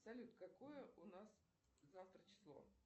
салют какое у нас завтра число